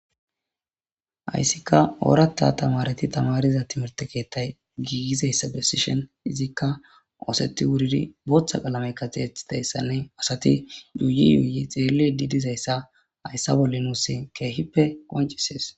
Hayssika oorata tamareti tamariza timirte keettay giigizayssa besishon izikka ooseti wuridi booththa qalamekka tiyetidayssanne asati yuuyi yuuyi xeelli didizayssa hayssa bolli nussin keehippe qoncisees